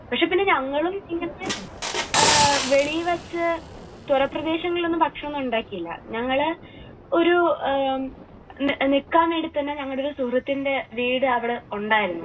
പക്ഷേ പിന്നെ ഞങ്ങളും ഇങ്ങനത്തെ എഹ് വെളിയിൽ വച്ച് തുറ പ്രദേശങ്ങളിലൊന്നും ഭക്ഷണമൊന്നും ഉണ്ടാക്കിയില്ല. ഞങ്ങൾ ഒരു നിക്കാൻ വേണ്ടി തന്നെ ഞങ്ങളുടെ ഒരു സുഹൃത്തിന്റെ വീട് അവിടെ ഉണ്ടായിരുന്നു.